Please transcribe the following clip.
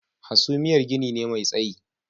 Hasumiyar gini ne mai tsayi